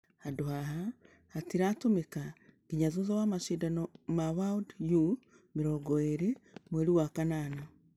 .....handũ haha hatiratũmĩka nginya thutha wa mashidano ya world u20 mweri wa kanana.